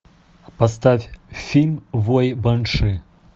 поставь фильм вой банши